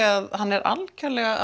að hann sé algjörlega